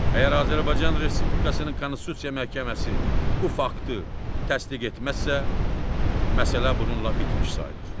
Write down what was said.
Əgər Azərbaycan Respublikasının Konstitusiya Məhkəməsi bu faktı təsdiq etməzsə, məsələ bununla bitmiş sayılır.